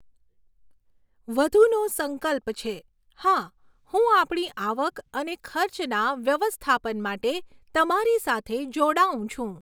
વધુનો સંકલ્પ છે, હા, હું આપણી આવક અને ખર્ચના વ્યવસ્થાપન માટે તમારી સાથે જોડાઉં છું.